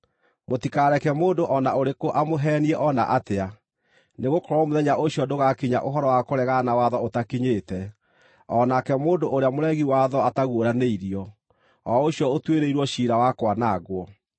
Mũtikareke mũndũ o na ũrĩkũ amũheenie o na atĩa, nĩgũkorwo mũthenya ũcio ndũgaakinya, ũhoro wa kũregana na watho ũtakinyĩte, o nake mũndũ ũrĩa mũregi watho ataguũranĩirio, o ũcio ũtuĩrĩirwo ciira wa kwanangwo.